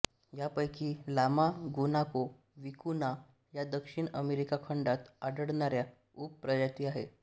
या पैकी llama guanaco vicuna या दक्षिण अमेरिका खंडात आढळणाऱ्या उप प्रजाती आहेत